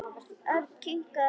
Örn kinkaði enn kolli.